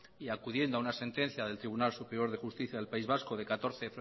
y acudiendo a una sentencia del tribunal superior de justicia del país vasco de catorce